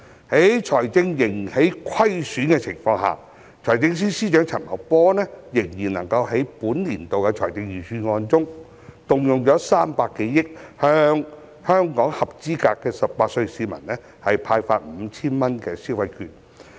在財政仍然虧損的情況下，財政司司長陳茂波仍然能夠在本年度的財政預算案中，動用300多億元向全港18歲或以上合資格的市民派發 5,000 元消費券。